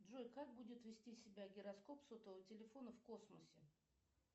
джой как будет вести себя гироскоп сотового телефона в космосе